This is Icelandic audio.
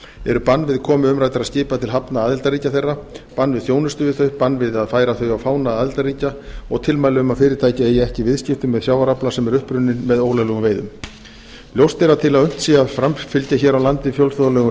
eru bann við komu umræddra skipa til hafna aðildarríkja þeirra bann við þjónustu við þau bann við að færa þau á fána aðildarríkja og tilmæli um að fyrirtæki eigi ekki í viðskiptum með sjávarafla sem er upprunninn með ólöglegum veiðum ljóst er að til að unnt sé að framfylgja fjölþjóðlegum